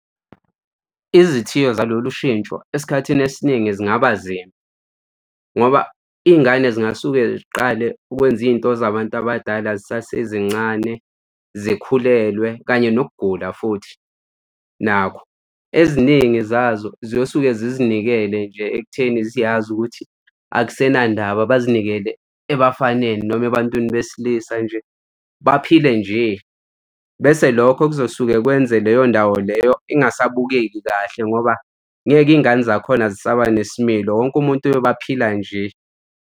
Izithiyo zalolu shintsho esikhathini esiningi zingaba nzima ngoba iy'ngane zingasuke ziqale ukwenza izinto zabantu abadala zisasezincane, zikhulelwe kanye nokugula futhi nakho. Eziningi zazo ziyosuke zizinikele nje ekutheni ziyazi ukuthi akusenandaba, bazinikele ebafaneni noma ebantwini besilisa nje baphile nje. Bese lokho kuzosuke kwenze leyo ndawo leyo ingasabukeki kahle ngoba ngeke iy'ngane zakhona zisaba nesimilo, wonke umuntu uyobe aphila nje.